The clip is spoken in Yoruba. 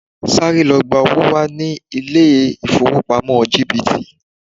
Sáré lọ gba owó wá ní ilé-ifowopamo GTB.